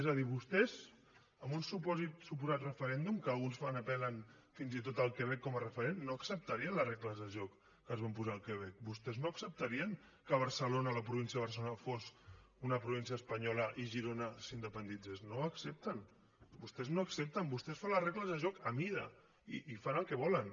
és a dir vostès en un suposat referèndum que alguns apel·len fins i tot al quebec com a referent no acceptarien les regles de joc que es van posar al quebec vostès no acceptarien que barcelona la província de barcelona fos una província espanyola i girona s’independitzés no ho accepten vostès no ho accepten vostès fan les regles de joc a mida i fan el que volen